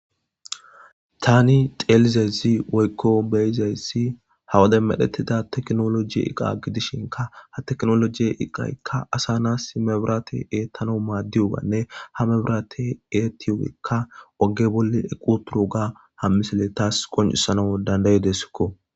tani xeelizezi woykko beyizayssi hawade medhettida teknoloji iqa gidishinka ha teknolojiye iqaykka asa na imebirate eettano maaddiyubanne ha mebrate eettiyokka oge bolle equ turu ga hammisile taas qoncisanau dandaydesikko